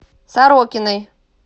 сорокиной